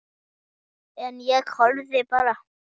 En ég horfði bara.